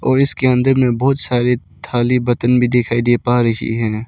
और इसके अंदर में बहोत सारे थाली बर्तन भी दिखाई दे पा रही हैं।